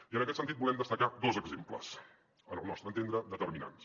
i en aquest sentit en volem destacar dos exemples al nostre entendre determinants